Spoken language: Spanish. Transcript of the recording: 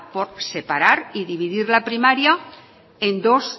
por separar y dividir la primaria en dos